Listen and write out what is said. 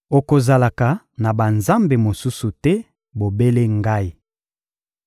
Okozalaka na banzambe mosusu te, bobele Ngai.